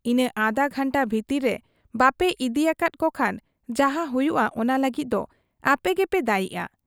ᱤᱱᱟᱹ ᱟᱫᱷᱟ ᱜᱷᱟᱱᱴᱟ ᱵᱷᱤᱛᱤᱨ ᱨᱮ ᱵᱟᱯᱮ ᱤᱫᱤᱭᱟᱠᱟᱫ ᱠᱚᱠᱷᱟᱱ ᱡᱟᱦᱟᱸ ᱦᱩᱭᱩᱜ ᱟ, ᱚᱱᱟ ᱞᱟᱹᱜᱤᱫ ᱫᱚ ᱟᱯᱮᱜᱮᱯᱮ ᱫᱟᱹᱭᱤᱜ ᱟ ᱾